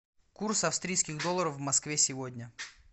курс австрийских долларов в москве сегодня